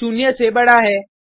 शून्य से बडा है